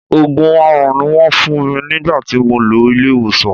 Òògùn aaràn ni Wọ́n fún mi nígbà tí mo lọ ilé ìwòsàn.